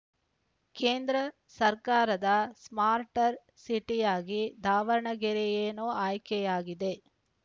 ಕೇಂದ್ರ ಸರ್ಕಾರದ ಸ್ಮಾರ್ಟರ್ ಸಿಟಿಯಾಗಿ ದಾವಣಗೆರೆಯೇನೋ ಆಯ್ಕೆಯಾಗಿದೆ